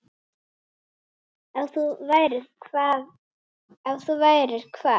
Ef þú værir hvað?